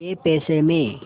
कै पैसे में